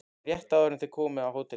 Rétt áður en þau koma að hóteli